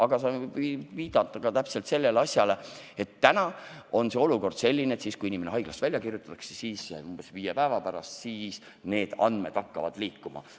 Aga see võib viidata ka sellele asjale, et täna on olukord selline, et kui inimene haiglast välja kirjutatakse, siis umbes viie päeva pärast hakkavad need andmed liikuma.